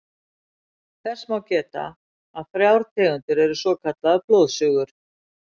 Þess má geta að þrjár tegundir eru svokallaðar blóðsugur.